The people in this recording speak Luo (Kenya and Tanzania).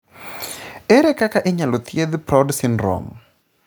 Ere kaka inyalo thiedh Proud syndrome?